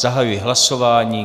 Zahajuji hlasování.